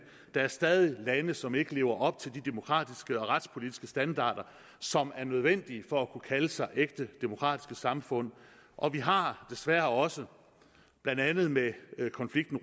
der er stadig lande som ikke lever op til de demokratiske og retspolitiske standarder som er nødvendige for at kunne kalde sig ægte demokratiske samfund og vi har desværre også blandt andet med konflikten